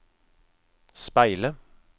speile